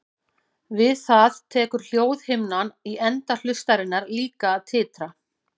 Við það tekur hljóðhimnan í enda hlustarinnar líka að titra.